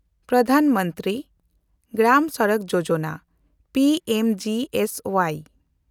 ᱯᱨᱚᱫᱷᱟᱱ ᱢᱚᱱᱛᱨᱤ ᱜᱨᱟᱢ ᱥᱚᱲᱚᱠ ᱭᱳᱡᱚᱱᱟ (P M G S Y)